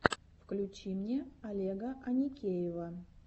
включи мне олега аникеева